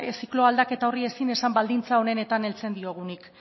ziklo aldaketa horri ezin esan baldintza onenetan heltzen diogunik